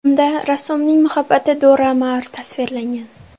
Unda rassomning muhabbati Dora Maar tasvirlangan.